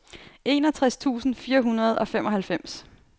enogtres tusind fire hundrede og femoghalvfems